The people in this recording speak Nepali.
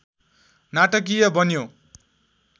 नाटकीय बन्यो